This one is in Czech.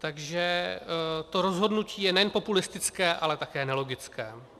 Takže to rozhodnutí je nejen populistické, ale také nelogické.